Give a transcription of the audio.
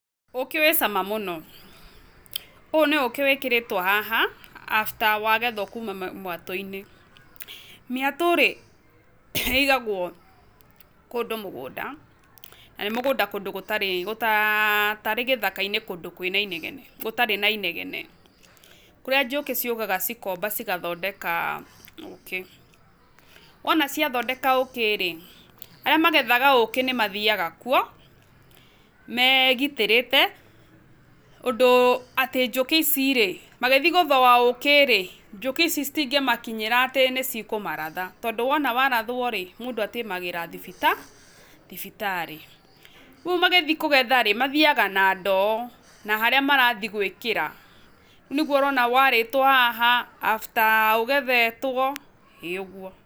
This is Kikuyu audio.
Ũkĩ wĩ cama mũno, ũyũ nĩ ũkĩ wĩkĩrĩtwo haha after wagethwo kuma mwatũ-inĩ mĩatũ rĩ ĩigagwo kũndũ mũgũnda, na nĩnmũgũnda kũndũ tarĩ gĩthaka-inĩ kũndũ gũtarĩ na inegene kũrĩa njũkĩ ciũkaga cikomba cigathondeka ũkĩ, wona ciathondeka ũkĩ arĩa magethaga ũkĩ nĩ mathiaga kuo megitĩrĩte ũndũ atĩ njũkĩ ici rĩ magĩthiĩ gũthũa ũkĩ njũkĩ ici citingĩmakinyĩra atĩ nĩ cikũmaratha, tondũ wona warathwo rĩ mũndũ atĩmagĩra thibita- thibitarĩ. Rĩu magĩthiĩ kũgetha rĩ mathiaga na ndoo na harĩa marathiĩ gwĩkĩra, nĩguo ũrona warĩtwo haha after ũgethetwo ĩ ũguo.